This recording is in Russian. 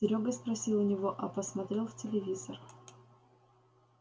серёга спросил у него а посмотрел в телевизор